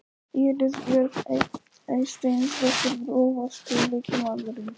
Íris Björk Eysteinsdóttir Grófasti leikmaðurinn?